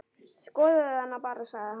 Skoðaðu hana bara, sagði hann.